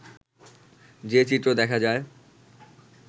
যে চিত্র দেখা যায়